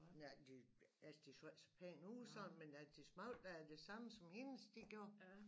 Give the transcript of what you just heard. Nej de altså de så ikke så pæne ud sådan men de smagte da af det samme som hendes de gjorde